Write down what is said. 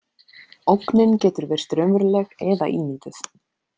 Ógnin getur virst raunveruleg eða ímynduð.